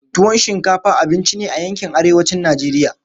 Tuwon shinkafa abinci ne a yankin arewacin Najeriya.